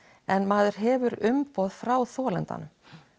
en maður hefur umboð frá þolandanum